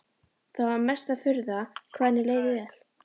Það var mesta furða hvað henni leið vel.